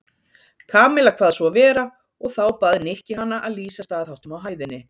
Kamilla kvað svo vera og þá bað Nikki hana að lýsa staðháttum á hæðinni.